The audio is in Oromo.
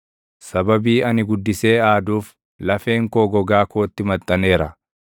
Sababii ani guddisee aaduuf, lafeen koo gogaa kootti maxxaneera.